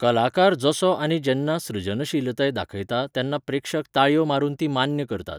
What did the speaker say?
कलाकार जसो आनी जेन्ना सृजनशीलताय दाखयता तेन्ना प्रेक्षक ताळयो मारून ती मान्य करतात.